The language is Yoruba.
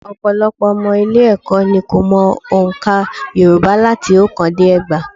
Ọ̀pọ̀lọpọ̀ ọmọ ilé-ẹ̀kọ́ ni kò mọ ọ̀ǹkà Yorùbá láti oókán dé ẹgbàá